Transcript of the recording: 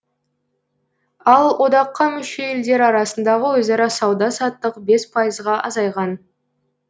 ал одаққа мүше елдер арасындағы өзара сауда саттық бес пайызға азайған